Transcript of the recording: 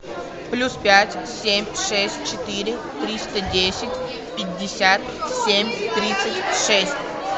плюс пять семь шесть четыре триста десять пятьдесят семь тридцать шесть